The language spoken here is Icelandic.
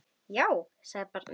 Já, sagði barnið.